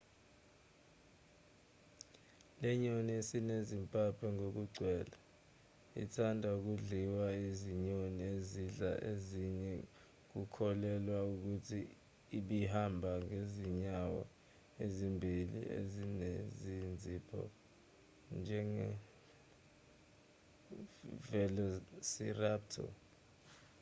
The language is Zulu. lenyoni esinezimpaphe ngokugcwele ethanda ukudliwa izinyoni ezidla ezinye kukholelwa ukuthi ibihamba ngezinyawo ezimbili ezinezinzipho njenge-velociraptor